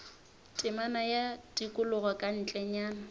temana ya tikologo ka ntlenyana